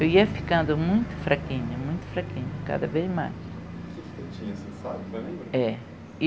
Eu ia ficando muito fraquinha, muito fraquinha, cada vez mais. É